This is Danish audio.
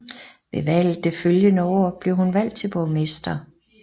Ved valget det følgende år blev hun valgt til borgmester